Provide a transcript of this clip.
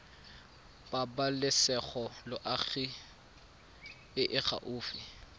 pabalesego loago e e gaufi